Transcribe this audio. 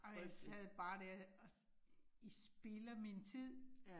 Folk sad bare dér og I spilder min tid